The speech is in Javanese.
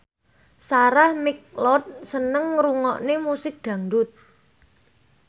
Sarah McLeod seneng ngrungokne musik dangdut